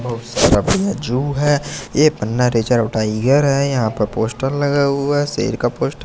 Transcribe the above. बहुत सारा प्याजु है ये पन्ना रिजर्व टाइगर है यहां पर पोस्टर लगा हुआ है शेर का पोस्टर --